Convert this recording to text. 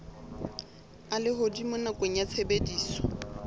a lehodimo nakong ya tshebediso